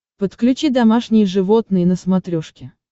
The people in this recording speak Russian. подключи домашние животные на смотрешке